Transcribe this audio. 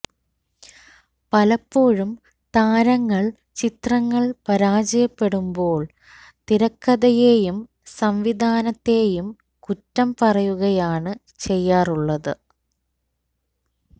പലപ്പോഴും താരങ്ങള് ചിത്രങ്ങള് പരാജയപ്പെടുമ്പോള് തിരക്കഥയെയും സംവിധാനത്തെയും കുറ്റം പറയുകയാണ് ചെയ്യാറുള്ളത്